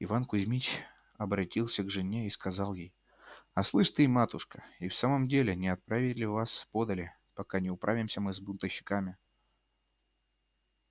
иван кузмич обратился к жене и сказал ей а слышь ты матушка и в самом деле не отправить ли вас подале пока не управимся мы с бунтовщиками